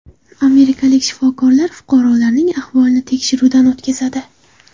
Amerikalik shifokorlar fuqarolarning ahvolini tekshiruvdan o‘tkazadi.